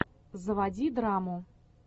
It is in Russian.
заводи драму